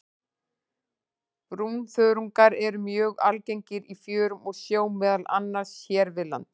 Brúnþörungar eru mjög algengir í fjörum og sjó, meðal annars hér við land.